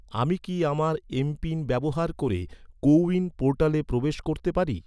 আমি কি আমার এম.পিন ব্যবহার করে কো উইন পোর্টালে প্রবেশ করতে পারি?